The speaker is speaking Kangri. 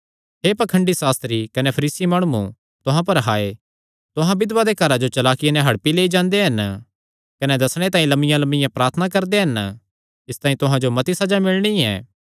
हे पाखंडी सास्त्री कने फरीसी माणुओ तुहां पर हाय तुहां बिधवां दे घरां जो चलाकिया नैं हड़पी लेई जांदे हन कने दस्सणे तांई लमियांलमियां प्रार्थना करदे हन इसतांई तुहां जो मती सज़ा मिलणी ऐ